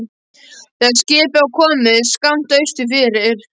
Þegar skipið var komið skammt austur fyrir